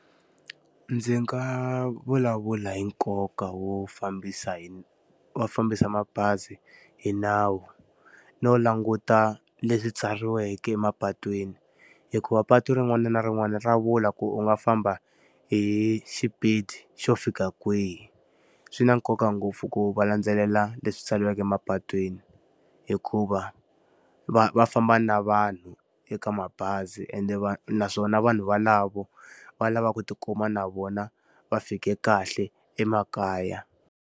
Ndzi nga vulavula hi nkoka wo fambisa hi wo fambisa mabazi hi nawu, no languta leswi tsariweke emapatwini. Hikuva patu rin'wana na rin'wana ra vula ku u nga famba hi xipidi xo fika kwihi. Swi na nkoka ngopfu ku va landzelela leswi tsariweke mapatwini, hikuva va va famba na vanhu eka mabazi ende naswona vanhu valavo, va lava ku ti kuma na vona va fike kahle emakaya.